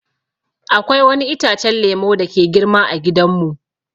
Akwai wani itacen lemu dake girma ã gidan mu.